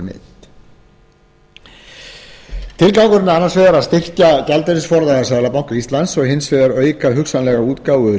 er annars vegar að styrkja gjaldeyrisforða seðlabanka íslands og hins vegar auka hugsanlega útgáfu